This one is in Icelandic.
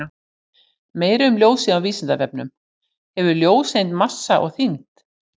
Meira um ljósið á Vísindavefnum: Hefur ljóseind massa og þyngd?